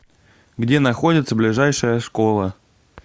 где находится ближайшая школа